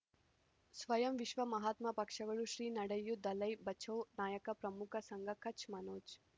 ಸ್ವಯಂ ವಿಶ್ವ ಮಹಾತ್ಮ ಪಕ್ಷಗಳು ಶ್ರೀ ನಡೆಯೂ ದಲೈ ಬಚೌ ನಾಯಕ ಪ್ರಮುಖ ಸಂಘ ಕಚ್ ಮನೋಜ್